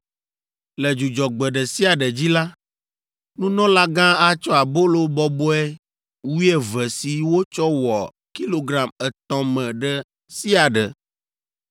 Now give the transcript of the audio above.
“Le Dzudzɔgbe ɖe sia ɖe dzi la, nunɔlagã atsɔ abolo bɔbɔe wuieve si wotsɔ wɔ kilogram etɔ̃ me ɖe sia ɖe,